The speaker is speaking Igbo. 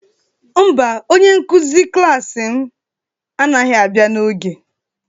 Mba, onye nkụzi klas m anaghị abịa n'oge